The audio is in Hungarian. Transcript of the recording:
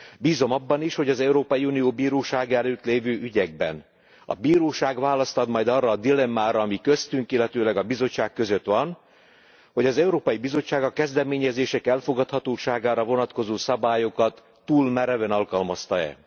Bízom abban is, hogy az Európai Unió Bírósága előtt lévő ügyekben a bíróság választ ad majd arra a dilemmára, ami köztünk, illetőleg a Bizottság között van, hogy az Európai Bizottság a kezdeményezések elfogadhatóságára vonatkozó szabályokat túl mereven alkalmazta e.